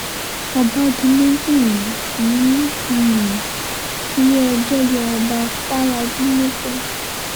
ọba di méjì ń um ilé-ẹjọ́ yọ ọba fàlábì nípò